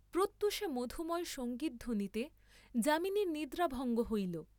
প্রত্যূষে মধুময় সঙ্গীধ্বনিতে যামিনীর নিদ্রাভঙ্গ হইল।